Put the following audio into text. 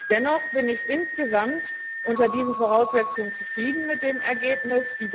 Dennoch bin ich insgesamt unter diesen Voraussetzungen zufrieden mit dem Ergebnis.